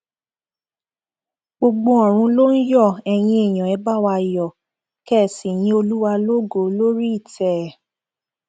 gbogbo ọrun ló ń yọ eyín èèyàn ẹ bá wa yọ kẹ ẹ sì yin olúwa lógo lórí ìtẹ ẹ